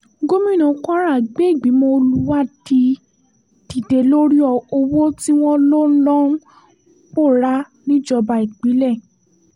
gomina kwara gbé ìgbìmọ̀ olùwádí dìde lórí owó tí wọ́n lọ lọ ń pòórá níjọba ìbílẹ̀